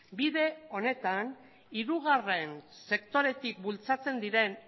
bide honetan hirugarren sektoretik bultzatzen diren